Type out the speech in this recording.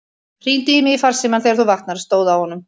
Hringdu í mig í farsímann þegar þú vaknar, stóð á honum.